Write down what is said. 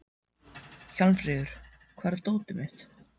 Hjálmfríður, hvar er dótið mitt?